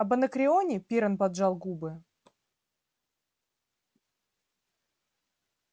об анакреоне пиренн поджал губы